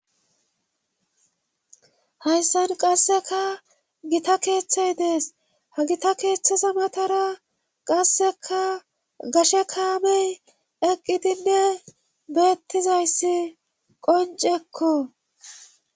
hayssan qasseka gita keeththey dees ha gita keeththeza matara qasseka gashe kaamey eqqidinne beettizayssi qoncekko